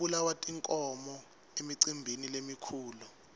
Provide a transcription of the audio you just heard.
kubulawa tinkhomo emicimbini lemikhulu